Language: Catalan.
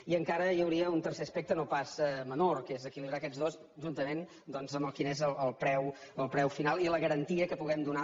i encara hi hauria un tercer aspecte no pas menor que és equilibrar aquests dos juntament doncs amb quin és el preu final i la garantia que puguem donar